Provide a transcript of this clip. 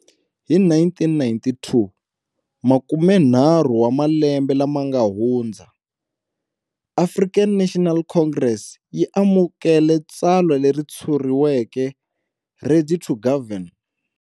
Hi 1992, makumenharhu wa malembe lama nga hundza, African National Congress yi amukele tsalwa leri tshuriweke 'Ready to Govern'.